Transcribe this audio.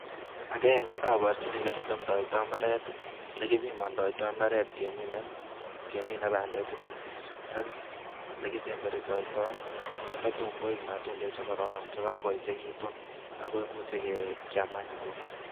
Agenge, aporchini ole kitemdoi imbaaret. le kipimandoi imbaaret keminei bandechutok ak le kisembertitoi tatuun koek matundek che korororon che kakoechekitu ako imuch kiaam any kuno.